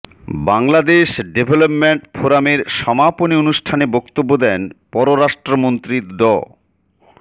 Bangladesh development ফোরামের সমাপনী অনুষ্ঠানে বক্তব্য দেন পররাষ্ট্রমন্ত্রী ড